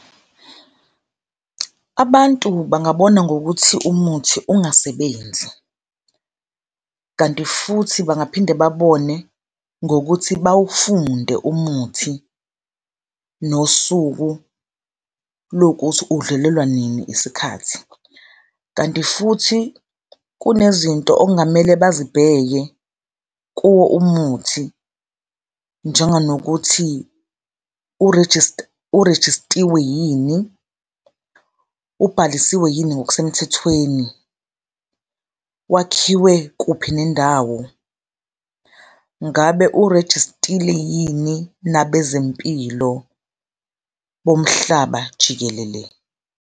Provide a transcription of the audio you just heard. Abantu bangabona ngokuthi umuthi ungasebenzi kanti futhi bangaphinde babone ngokuthi bawufunde umuthi nosuku lokuthi udlulelwa nini isikhathi. Kanti futhi kunezinto okungamele bazibheke kuwo umuthi, njenganokuthi urejistiwe yini? Ubhalisiwe yini ngokusemthethweni? Wakhiwe kuphi nendawo? Ngabe urejistile yini nabezempilo bomhlaba jikelele?